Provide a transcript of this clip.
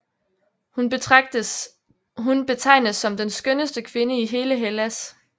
Hun betegnes som den skønneste kvinde i hele Hellas